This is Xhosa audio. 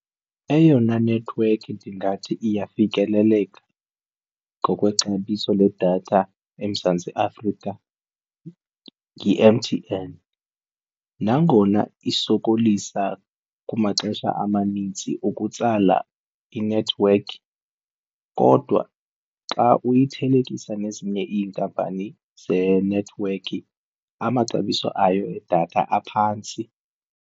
Eyona nethiwekhi ndingathi iyafikeleleka ngokwexabiso ledatha eMzantsi Afrika ngi-M_T_N nangona isokolisa kumaxesha amanintsi ukutsala inethiwekhi kodwa xa uyithelekisa nezinye iinkampani zenethiwekhi amaxabiso ayo edatha aphantsi.